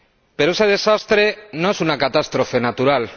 Pero ese desastre no es una catástrofe natural.